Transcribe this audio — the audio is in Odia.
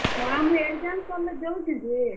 ହଁ, ମୁଇଁ exam ସର୍ ଲେ ଯାଉଛେଁ ଯେ।